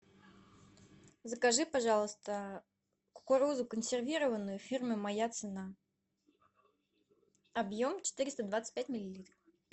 закажи пожалуйста кукурузу консервированную фирмы моя цена объем четыреста двадцать пять миллилитров